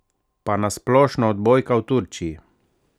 Pa na splošno odbojka v Turčiji?